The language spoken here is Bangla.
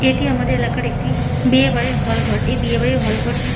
এটি আমাদের এলাকার একটি বিয়ে বাড়ির হল ঘর এই বিয়ে বাড়ির হল ঘরটি--